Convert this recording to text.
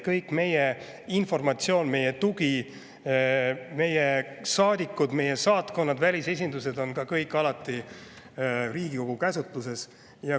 Kogu meie informatsioon, meie tugi, meie saadikud, meie saatkonnad, välisesindused on alati ka Riigikogu käsutuses.